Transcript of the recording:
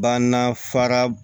Banna fara